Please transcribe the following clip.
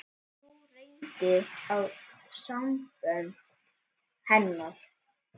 Nú reyndi á sambönd hennar.